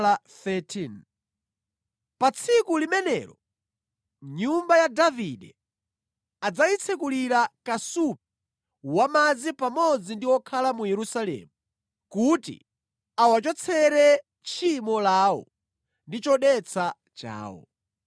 “Pa tsiku limenelo nyumba ya Davide adzayitsekulira kasupe wa madzi pamodzi ndi okhala mu Yerusalemu, kuti awachotsere tchimo lawo ndi chodetsa chawo.